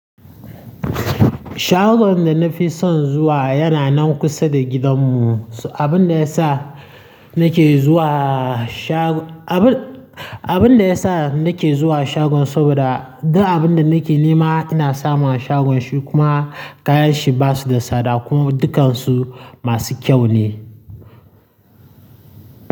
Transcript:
Shagon da na fi son zuwa yana nan kusa da gidanmu. Abin da ya sa nake zuwa shago, abin, abin da ya sa nake zuwa shagon saboda duk abin da nake nema ina samun a shagon shi kuma kayan shi basu da tsada kuma dukkansu masu kyau ne.